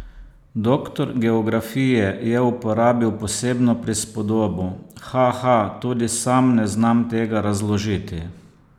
Doktor geografije je uporabil posebno prispodobo: 'Haha, tudi sam ne znam tega razložiti.